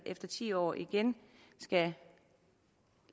efter ti år igen skal